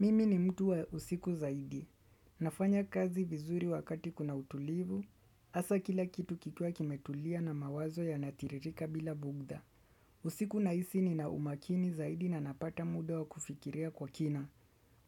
Mimi ni mtu wa usiku zaidi. Nafanya kazi vizuri wakati kuna utulivu, hasa kila kitu kikiwa kimetulia na mawazo yakitiririka bila bughudha. Usiku nahisi nina umakini zaidi na napata muda wa kufikiria kwa kina.